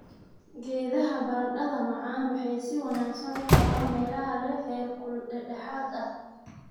Geedaha baradhada macaan waxay si wanaagsan u koraan meelaha leh heerkul dhexdhexaad ah.